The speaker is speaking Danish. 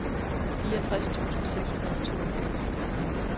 fireogtres tusind seks hundrede og toogfirs